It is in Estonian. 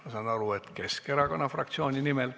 Ma saan aru, et Keskerakonna fraktsiooni nimel.